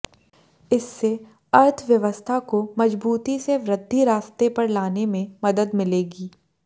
इससे अर्थव्यवस्था को मजबूती से वृद्धि रास्ते पर लाने में मदद मिलेगी